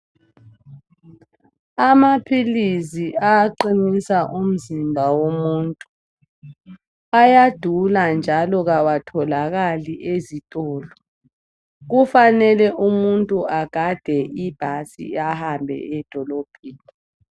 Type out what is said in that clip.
Amaphilisi aqinisa umzimba womuntu ayadula njalo awatholakali ezitolo. Kufanele umuntu agade ibhasi ahambe edolobheni.